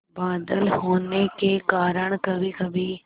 बादल होने के कारण कभीकभी